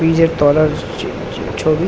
Bridge -এর তলার ছ ছ ছ ছবি।